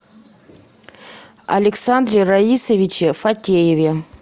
александре раисовиче фатееве